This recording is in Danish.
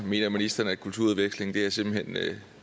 mener ministeren at kulturudveksling simpelt hen er